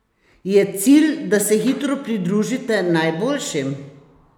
Je cilj, da se hitro pridružite najboljšim?